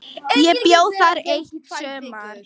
Ég bjó þar eitt sumar.